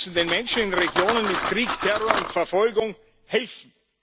Wir müssen den Menschen in Regionen mit Krieg, Terror und Verfolgung helfen.